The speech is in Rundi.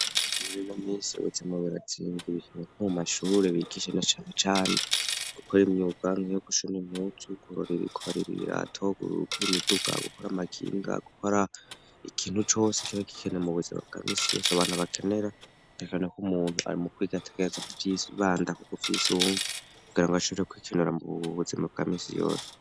Murimo misi ubuzima biratsindi bikeneko mu mashure bigishe ne canecane gukora imyuwanka yo gushuna imuti uwugurorera ikubarira ibiratogururukura imiduka gukora amakinga gukora ikintu cose kawa ikikene mu buzima bwa misiri yose abantu abakenera tekanako umuntu ari mu kwigategereza ku vyibandaku guvyoisunga rangoachireko ikinura mu bbubuzi mu kamisi yose.